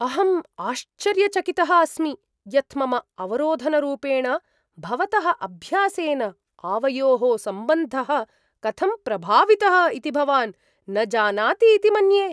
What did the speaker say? अहम् आश्चर्यचकितः अस्मि यत् मम अवरोधनरूपेण भवतः अभ्यासेन आवयोः सम्बन्धः कथं प्रभावितः इति भवान् न जानाति इति मन्ये।